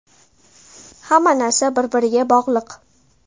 Hamma narsa bir-biriga bog‘liq.